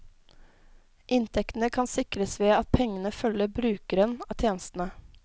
Inntektene kan sikres ved at pengene følger brukeren av tjenestene.